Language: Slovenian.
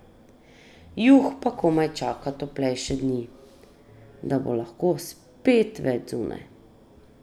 Juh pa komaj čaka toplejše dni, da bo lahko spet več zunaj.